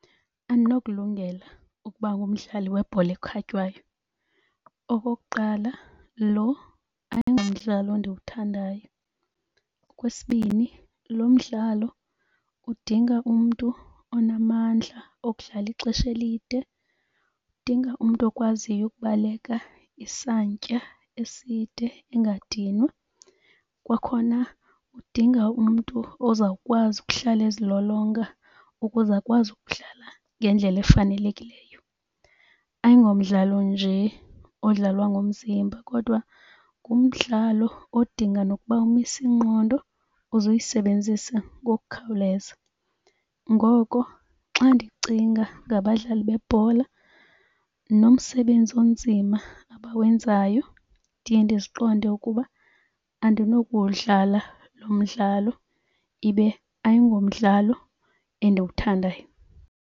Andinokulungela ukuba ngumdlali webhola ekhatywayo. Okokuqala lo ayingumdlalo ndiwuthandayo. Okwesibini lo mdlalo udinga umntu onamandla okudlala ixesha elide, udinga umntu okwaziyo ukubaleka isantya eside engadinwa. Kwakhona udinga umntu ozawukwazi ukuhlala ezilolonga ukuze akwazi ukudlala ngendlela efanelekileyo. Ayingomdlalo nje odlalwa ngomzimba kodwa ngumdlalo odinga nokuba umise ingqondo, uze uyisebenzise ngokukhawuleza. Ngoko xa ndicinga ngabadlali bebhola nomsebenzi onzima abawenzayo ndiye ndiqonde ukuba andinokuwudlala lo mdlalo, ibe ayingomdlalo endiwuthandayo.